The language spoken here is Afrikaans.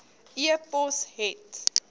e pos het